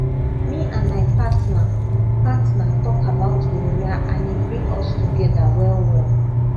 me and my partner partner talk about gonorrhea and e bring us together well well